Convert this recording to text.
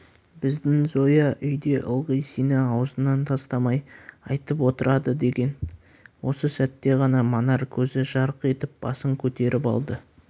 біздің зоя үйде ылғи сені аузынан тастамай айтып отырады деген осы сәтте ғана манар көзі жарқ етіп басын көтеріп алды